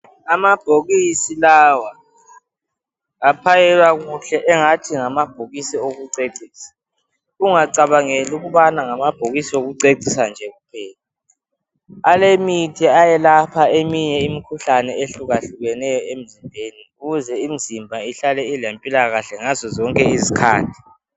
Amabhokisi lawa, aphanyekwa kuhle engathi ngamabhokisi okucecisa, ungacabangeli ukubana ngamabhokisi okucecisa nje, alemithi eyalpha imikhuhlane ehlukahlukeneyo emzimbeni ukuze imizimba ihlale ilempilakahle ngazo zonke izikhathi